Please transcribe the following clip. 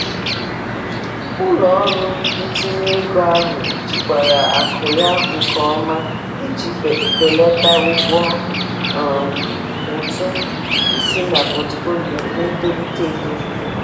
Ụlọ ọrụ ntinye ego ahụ jikwara akụ ya nke ọma iji belata ụgwọ um ụtụ isi na pọtụfoliyo na-etolite etolite.